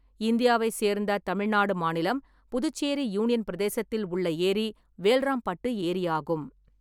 இந்தியாவை சேர்ந்த தமிழ்நாடு மாநிலம், புதுச்சேரி யூனியன் பிரதேசத்தில் உள்ள ஏரி வேல்ராம்பட்டு ஏரியாகும்.